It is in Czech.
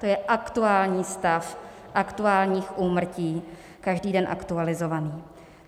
To je aktuální stav aktuálních úmrtí, každý den aktualizovaný.